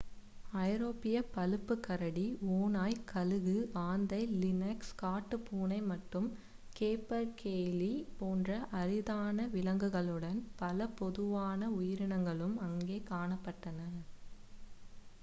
ஐரோப்பிய பழுப்பு கரடி ஓநாய் கழுகு ஆந்தை லினக்ஸ் காட்டுப்பூனை மற்றும் கேப்பர்கெய்லீ போன்ற அரிதான விலங்குகளுடன் பல பொதுவான உயிரினங்களும் அங்கே காணப்பட்டன